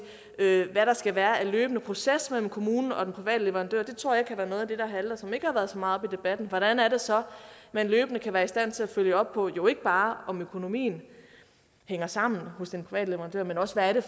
hvad der skal være for en løbende proces mellem kommunen og den private leverandør det tror jeg kan være noget af det der halter og som ikke har været så meget oppe i debatten hvordan er det så man løbende kan være i stand til at følge op på jo ikke bare om økonomien hænger sammen hos en privat leverandør men også hvad det